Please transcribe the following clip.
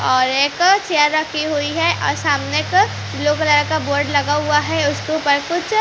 और एक uh chair रखी हुई है और सामने एक अ ब्लू कलर का बोर्ड लगा हुआ है उसके ऊपर कुछ--